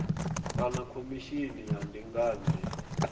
kana khomishini ya ndinganyo ya